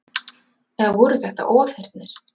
Eða voru þetta ofheyrnir?